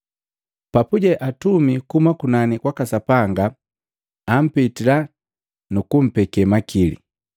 Papuje atumi kuhuma kunani kwaka Sapanga ampitila nu kumpeke makili.